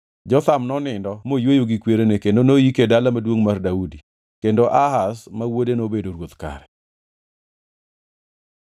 Jotham nonindo moyweyo gi kwerene kendo noyike e Dala Maduongʼ mar Daudi. Kendo Ahaz ma wuode nobedo ruoth kare.